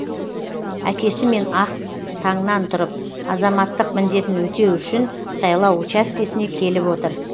әкесімен ақ таңнан тұрып азаматтық міндетін өтеу үшін сайлау учаскесіне келіп отыр